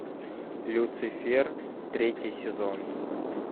люцифер третий сезон